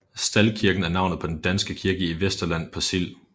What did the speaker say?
Staldkirken er navnet på den danske kirke i Vesterland på Sild